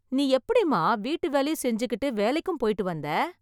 நீ எப்படிமா வீட்டு வேலையும் செஞ்சுகிட்டு வேலைக்கும் போயிட்டு வந்த ?